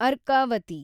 Arkavathi